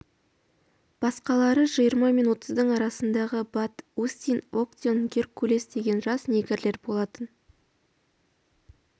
басқалары жиырма мен отыздың арасындағы бат остин актеон геркулес деген жас негрлер болатын